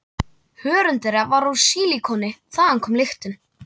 Hörund þeirra var úr sílikoni- þaðan kom lyktin.